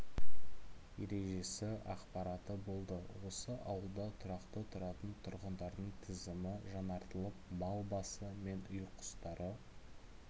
ережесі ақпараты болды осы ауылда тұрақты тұратын тұрғындардың тізімі жаңартылып мал басы мен үй құстары